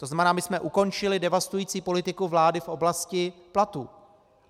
To znamená, my jsme ukončili devastující politiku vlády v oblasti platů.